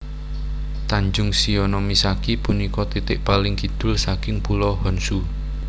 Tanjung Shionomisaki punika titik paling kidul saking Pulo Honshu